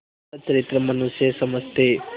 सच्चरित्र मनुष्य समझते